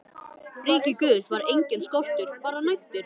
ríki Guðs var enginn skortur, bara nægtir.